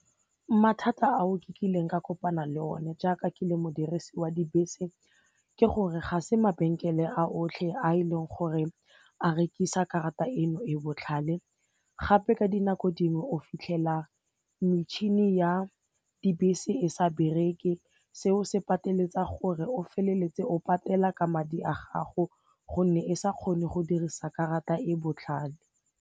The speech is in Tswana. Mathata ao ke kileng ka kopana le one jaaka ke le modirisi wa dibese ke gore ga se mabenkele a otlhe a e leng gore a rekisa karata eno e botlhale gape ka dinako dingwe o fitlhela metšhini ya dibese e sa bereke seo se pateletsa gore o feleletse o patela ka madi a gago gonne e sa kgone go dirisa karata e botlhale.